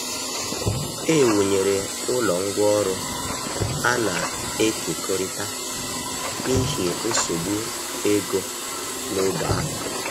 E wụnyere ụlọ ngwá ọrụ a na-ekekọrịta n’ihi nsogbu ego n’ógbè ahụ.